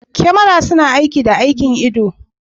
Kyamara suna aiki da aikin ido.